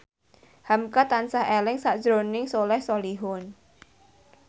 hamka tansah eling sakjroning Soleh Solihun